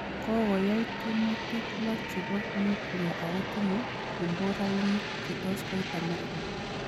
Kokoyai tiemutik lo chebo nyuklia ako tinye komborainik che tos it Amerika